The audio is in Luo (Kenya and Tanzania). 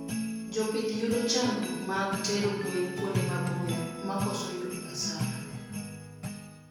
jopith yudo chandruok mag tero gwen kuonde maboyo makoso yudo hasara